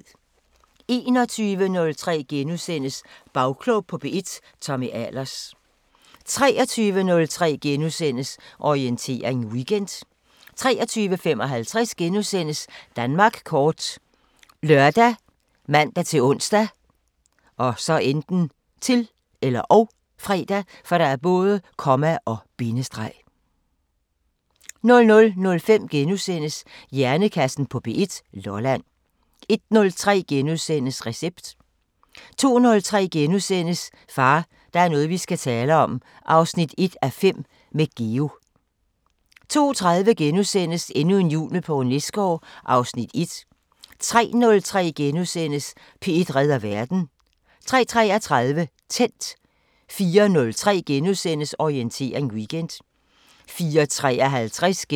21:03: Bagklog på P1: Tommy Ahlers * 23:03: Orientering Weekend * 23:55: Danmark kort *( lør, man-ons, -fre) 00:05: Hjernekassen på P1: Lolland * 01:03: Recept * 02:03: Far, der er noget vi skal tale om 1:5 – med Geo * 02:30: Endnu en jul med Poul Nesgaard (Afs. 1)* 03:03: P1 redder verden * 03:33: Tændt 04:03: Orientering Weekend *